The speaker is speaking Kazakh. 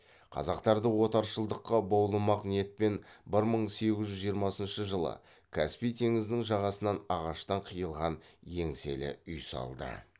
қазақтарды отаршылдыққа баулымақ ниетпен бір мың сегіз жүз жиырмасыншы жылы каспий теңізінің жағасынан ағаштан қиылған еңселі үй салды